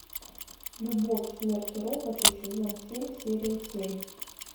любовь смерть и роботы сезон семь серия семь